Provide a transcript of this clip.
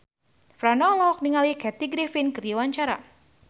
Franda olohok ningali Kathy Griffin keur diwawancara